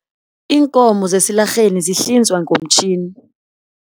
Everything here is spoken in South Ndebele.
Iinkomo zesilarheni zihlinzwa ngomtjhini.